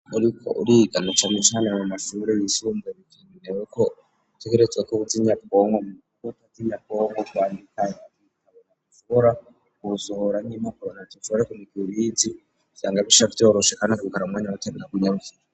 uriko uriga na cane cane mu mashuri yisumbuye bikinegwa ko uba Uzi imashini nyabwonko waba utayizi ntushobora kusohora n'impapuro ariko mugihe ubizi vyama bica vyorosha kandi bimara umwanya muto